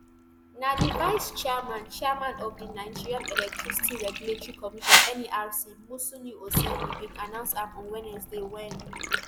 na di vice chairman chairman of di nigerian electricity regulatory commission nerc musliu oseni bin announce am on wednesday wen